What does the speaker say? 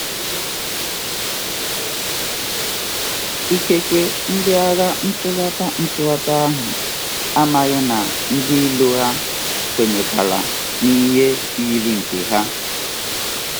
Ikekwe, ndị agha ntụghata ntụghata ahụ amaghị na ndị iro ha kwenyekwaara n'ihe yiri nke ha.